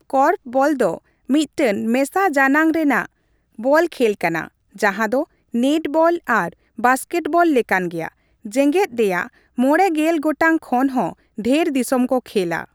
Korfball ᱫᱚ ᱢᱤᱫᱴᱟᱝ ᱢᱮᱥᱟ ᱡᱟᱱᱟᱝ ᱨᱮᱱᱟᱜ ᱵᱚᱞ ᱠᱷᱮᱞ ᱠᱟᱱᱟ, ᱡᱟᱦᱟᱸ ᱫᱚ ᱱᱮᱴᱵᱚᱞ ᱟᱨ ᱵᱟᱥᱠᱮᱴᱵᱚᱞ ᱞᱮᱠᱟᱱ ᱜᱮᱭᱟ, ᱡᱮᱜᱮᱫ ᱨᱮᱭᱟᱜ ᱕᱐ ᱜᱚᱴᱟᱝ ᱠᱷᱚᱱ ᱦᱚᱸ ᱰᱷᱮᱨ ᱫᱤᱥᱚᱢ ᱠᱚ ᱠᱷᱮᱞᱟ ᱾